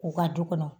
U ka du kɔnɔ